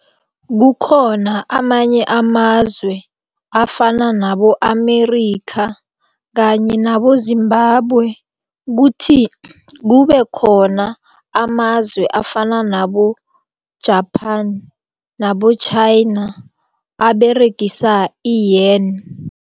Kukhona amanye amazwe afana nabo-Amerika kanye nabo- ZImbabwe kuthi kubekhona amazwe afana nabo-Japan nabo-Chaina aberegisa i-yuan.